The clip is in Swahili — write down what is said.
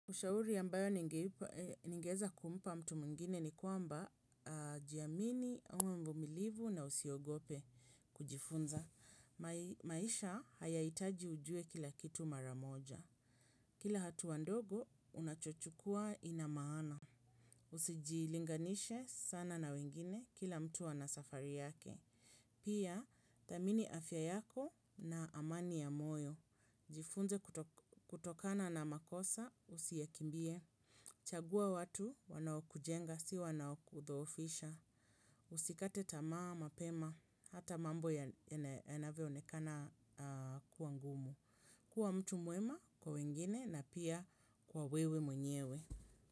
Ushauri ambayo ningeweza kumpa mtu mwingine ni kwamba jiamini uwe mvumilivu na usiogope kujifunza. Maisha hayaitaji ujue kila kitu mara moja. Kila hatua ndogo, unachochukuwa ina maana. Usijilinganishe sana na wengine kila mtu ana safari yake. Pia, tamini afya yako na amani ya moyo. Jifunze kutokana na makosa usiyakimbie. Chagua watu wanaokujenga, si wananaokudhoofisha. Usikate tamaa, mapema, hata mambo yanavyoonekana kuwa ngumu. Kuwa mtu mwema kwa wengine na pia kwa wewe mwenyewe.